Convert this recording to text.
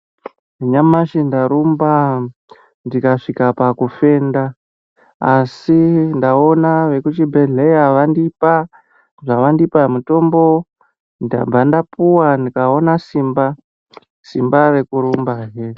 Nyamashi ndarumba, ndikasvika pakufenda, asi ndaona vekuchibhedhleya vandipa zvavandipa mutombo, ndabva ndapuwa ndikona simba rekurumbahe.